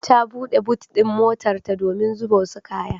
Ta buɗe but ɗin motarta domin zuba wasu kaya.